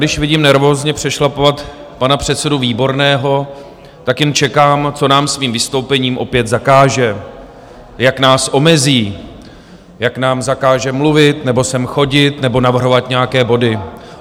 Když vidím nervózně přešlapovat pana předsedu Výborného, tak jen čekám, co nám svým vystoupením opět zakáže, jak nás omezí, jak nám zakáže mluvit nebo sem chodit nebo navrhovat nějaké body.